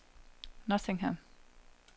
Nottingham